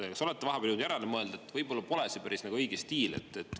Kas olete vahepeal jõudnud järele mõelda, et võib-olla pole see päris õige stiil?